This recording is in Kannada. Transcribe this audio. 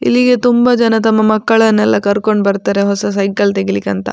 ಇಲ್ಲಿಗೆ ತುಂಬ ಜನ ತಮ್ಮ ಮಕ್ಕಳನ್ನೆಲ್ಲ ಕರ್ಕೊಂಡು ಬರ್ತಾರೆ ಹೊಸ ಸೈಕಲ್‌ ತೆಗಿಲಿಕ್ಕಂತ.